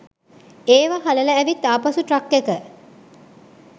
ඒවා හලලා ඇවිත් ආපසු ට්‍රක් එක